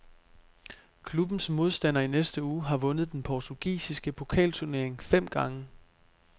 Klubbens modstander i næste uge har vundet den portugisiske pokalturnering fem gange.